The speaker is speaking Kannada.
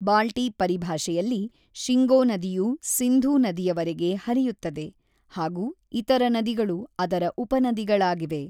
ಬಾಲ್ಟಿ ಪರಿಭಾಷೆಯಲ್ಲಿ, ಶಿಂಗೋ ನದಿಯು ಸಿಂಧೂ ನದಿಯವರೆಗೆ ಹರಿಯುತ್ತದೆ ಹಾಗು ಇತರ ನದಿಗಳು ಅದರ ಉಪನದಿಗಳಾಗಿವೆ.